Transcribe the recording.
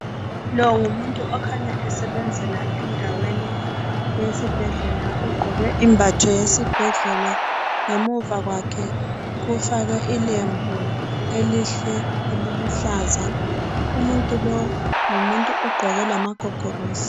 Lo ngumuntu okhanya esebenzela endaweni yesibhedlela, ugqoke imbatho yesibhedlela. Ngemuva kwakhe kufakwe ilembu elihle eliluhlaza .Umuntu lo ngumuntu ogqoke lamagogorosi.